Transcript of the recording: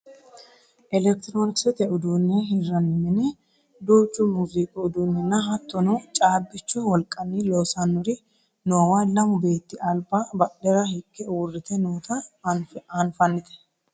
elekitiroonikisete uduunne hirranni mine duuchu muziiqu uduunninna hattono caabbichu wolqanni loosannori noowa lamu beetti alba badhera higge uurrite noota anfannite